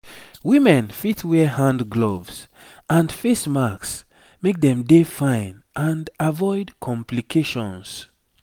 women fit wear hand gloves and face masks make dem dey fine and avoid complications